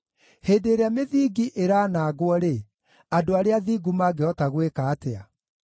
Hĩndĩ ĩrĩa mĩthingi ĩraanangwo-rĩ, andũ arĩa athingu mangĩhota gwĩka atĩa?”